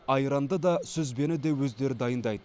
айранды да сүзбені де өздері дайындайды